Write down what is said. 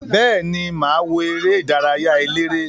Beeni, maa wo ere idaraya elere.